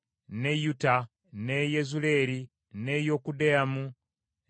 n’e Yezuleeri, n’e Yokudeamu, n’e Zanoa,